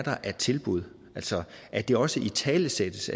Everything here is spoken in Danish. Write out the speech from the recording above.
er af tilbud altså at det også italesættes